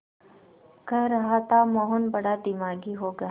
कह रहा था मोहन बड़ा दिमागी होगा